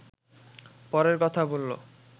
পরের কথা বললো